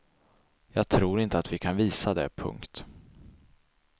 Jag tror inte att vi kan visa det. punkt